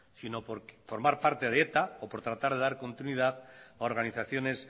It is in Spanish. sino por formar parte de eta o por tratar de dar continuidad a organizaciones